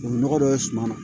Tubabu nɔgɔ dɔ ye suman na